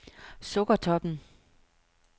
Sukkertoppen